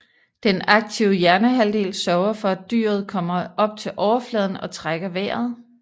Den aktive hjernehalvdel sørger for at dyret kommer op til overfladen og trækker vejret